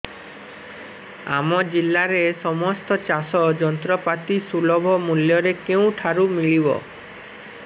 ଆମ ଜିଲ୍ଲାରେ ସମସ୍ତ ଚାଷ ଯନ୍ତ୍ରପାତି ସୁଲଭ ମୁଲ୍ଯରେ କେଉଁଠାରୁ ମିଳିବ